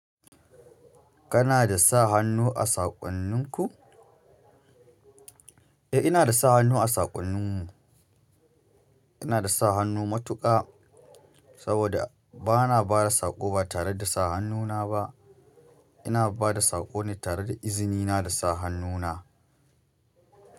Kana da sa hannu a saƙonninku? Eh, ina da sa hannu a saƙonninmu. Ina da sa hannu matuƙa saboda ba na ba da saƙo ba tare da sa hannuna ba. Ina ba da saƙo ne tare da izinina da sa hannuna.